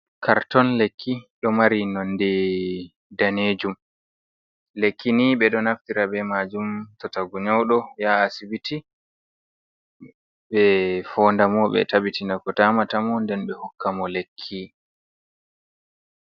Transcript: Karton lekki ɗo mari nonde daneejum. Lekki ni ɓe ɗo naftira be maajum to tagun nyawɗo, yaha asibiti ɓe foondamo ɓe tabitina ko damata mo. Nden ɓe hokka mo lekki.